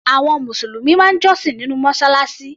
Àwọn Mùsùlùmí máa ń jọ́sìn nínú Mọ́ṣáláṣí.